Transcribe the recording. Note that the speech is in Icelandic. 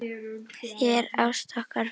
Þér ást okkar fylgi.